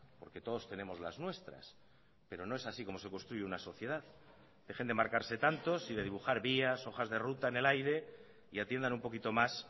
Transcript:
porque todos tenemos las nuestras pero no es así como se construye una sociedad dejen de marcarse tantos y de dibujar vías hojas de ruta en el aire y atiendan un poquito más